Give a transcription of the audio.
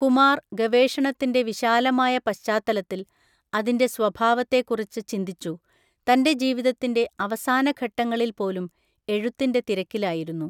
കുമാർ ഗവേഷണത്തിൻ്റെ വിശാലമായ പശ്ചാത്തലത്തിൽ അതിന്റെ സ്വഭാവത്തെ കുറിച്ച് ചിന്തിച്ചു, തന്റെ ജീവിതത്തിന്റെ അവസാന ഘട്ടങ്ങളിൽ പോലും എഴുത്തിന്റെ തിരക്കിലായിരുന്നു.